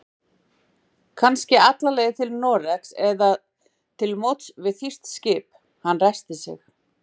Kannski alla leið til Noregs eða til móts við þýskt skip. Hann ræskti sig.